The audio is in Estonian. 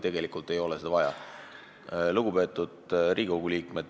Lugupeetud Riigikogu liikmed!